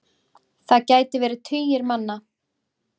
Það gæti verið tugir manna.